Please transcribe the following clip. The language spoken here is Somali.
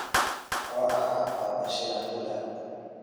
oo ahaa papa shirandula